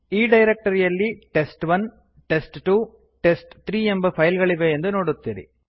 ಈ ಡೈರಕ್ಟರಿಯಲ್ಲಿ test one test two test three ಎಂಬ ಫೈಲ್ ಗಳಿವೆ ಎಂದು ನೋಡುತ್ತೀರಿ